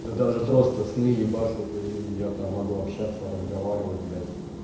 да даже просто сны ебашут и я то могу общаться разговаривать блять